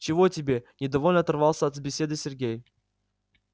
чего тебе недовольно оторвался от беседы сергей